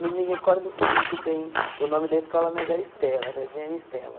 Não me recordo muito bem o nome da escola, mas era Estela, Jardim Ana Estela.